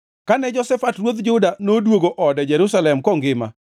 Kane Jehoshafat ruodh Juda noduogo ode Jerusalem kongima,